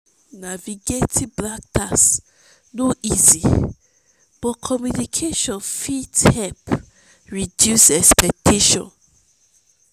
navigating black tax no easy but communication fit help reduce expectations.